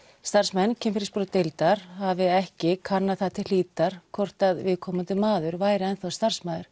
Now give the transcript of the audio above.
starfsmenn hafi ekki kannað það til hlítar hvort viðkomandi maður væri enn þá starfsmaður